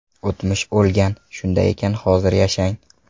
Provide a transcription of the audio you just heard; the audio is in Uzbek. O‘tmish o‘lgan, shunday ekan hozir yashang!